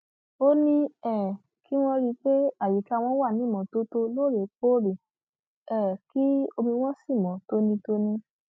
ó ní um kí wọn rí i pé àyíká wọn wà ní ìmọtótó lóòrèkóòrè um kí omi wọn sì mọ tónítóní